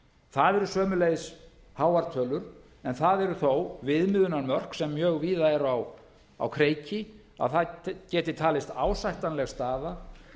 það eru sömuleiðis háar tölur en það eru þó viðmiðunarmörk sem mjög víða eru á kreiki að það geti talist ásættanleg staða